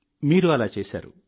మీరు అలా చేశారు